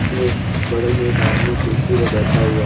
के बगल में एक आदमी कुर्सी पर बैठा हुआ--